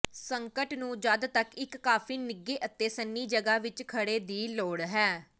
ਸੰਕਟ ਨੂੰ ਜਦ ਤੱਕ ਇੱਕ ਕਾਫ਼ੀ ਨਿੱਘੇ ਅਤੇ ਸੰਨੀ ਜਗ੍ਹਾ ਵਿੱਚ ਘੜੇ ਦੀ ਲੋੜ ਹੈ